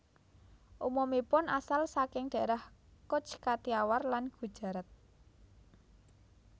Umumipun asal saking daerah Cutch Kathiawar lan Gujarat